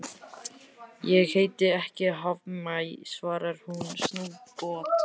Ég heiti ekki Hafmey, svarar hún snubbótt.